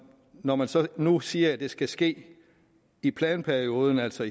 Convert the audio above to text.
når man så nu siger at det skal ske i planperioden altså